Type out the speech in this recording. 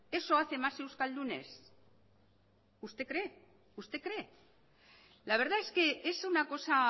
eso hace más euskaldunes usted cree la verdad es que es una cosa